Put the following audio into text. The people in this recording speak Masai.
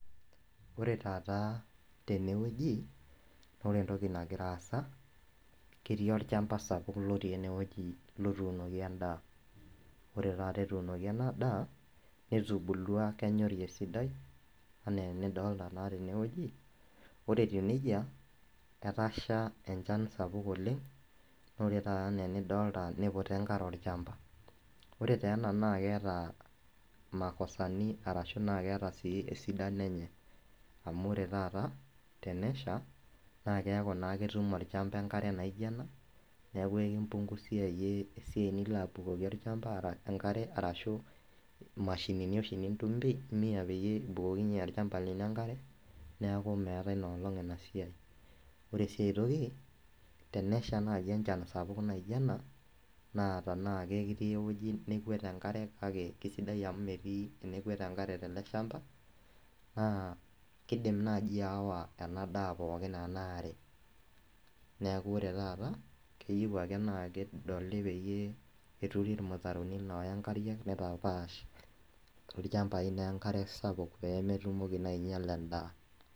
Ore taata tenewueji na ore entoki nagira aasa ketii olchamba sapuk otuunoki endaa ore taata etuunoki endaa netubulua kenyori esidai ana enidolta tenewueji ore etou nejia erasha enchan sapuk oleng, ore na enidolta neiputa enkare olchamba ore taa ena na keeta makosani na keeta esidano enye amu ore taata tenesha na keaku ketum olchamba enkare naijo ena na kipunguzia iyie esiai nilo apik enkare arashu mashinini oshi nintumia peyie ibukoki olchamba enkare neakumeetae nolong enasiai ore su aitoki tenesha nai enchan sapuk naijo ena na tanaa kerii ewoi nekwet enkare na sidai amu metii uwueji nakwet enkare teleshamba na kidim nai ayawa enadaa pooki enaarebneakubore taata keyieu ake na kedoli neturi irmutaroni oya nkariak nitapaash lchambai enkare sapuk pemitoki ainyal endaa.